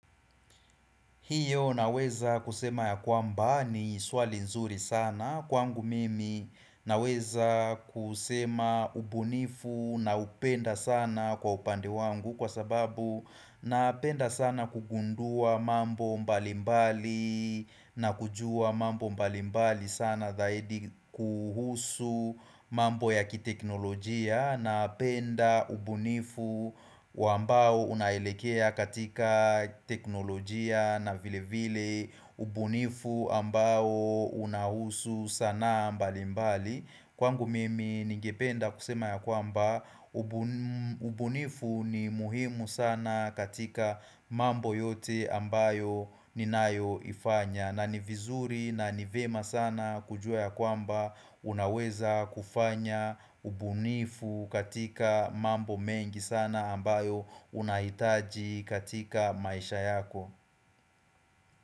Hiyo naweza kusema ya kwamba ni swali nzuri sana kwangu mimi naweza kusema ubunifu naupenda sana kwa upande wangu kwa sababu napenda sana kugundua mambo mbalimbali na kujua mambo mbalimbali sana dhahidi kuhusu mambo ya kiteknolojia Napenda ubunifu ambao unaelekea katika teknolojia na vile vile ubunifu ambao unahusu sanaa mbali mbali Kwangu mimi nigependa kusema ya kwamba ubunifu ni muhimu sana katika mambo yote ambayo ninayoifanya na ni vizuri na ni vyema sana kujua ya kwamba unaweza kufanya ubunifu katika mambo mengi sana ambayo unahitaji katika maisha yako.